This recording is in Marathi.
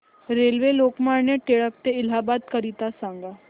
रेल्वे लोकमान्य टिळक ट ते इलाहाबाद करीता सांगा